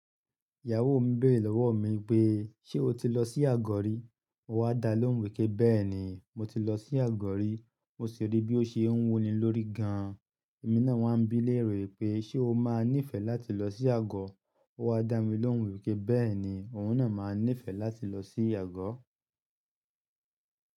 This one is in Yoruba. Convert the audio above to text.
"Ìyàwó mi béèrè lọ́wọ́ mi pé, 'ṣé o ti lọ sí Àgọ̀ rí?' Mo wá dálóhùn wípé, 'béèni mo ti lọ sí Àgọ̀ rí, mo sì rí bí ó ṣe ń wuni lórí gan.' Ẹ̀mí náà wá ń bi léèrè pé, 'ṣé o máa níìfẹ̀ láti lọ sí Àgọ̀?' O wá dá mi lóhùn wípé, 'béèni òun náà máa níìfẹ̀ láti lọ sí Àgọ̀.'